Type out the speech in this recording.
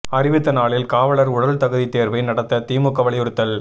அறிவித்த நாளில் காவலா் உடல் தகுதி தோ்வை நடத்த திமுக வலியுறுத்தல்